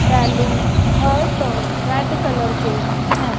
Balloon heart और red colour के हैं।